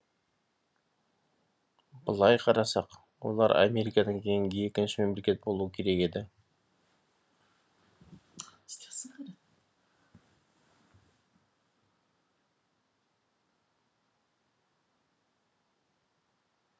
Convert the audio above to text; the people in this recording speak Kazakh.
былай қарасақ олар америкадан кейінгі екінші мемлекет болуы керек еді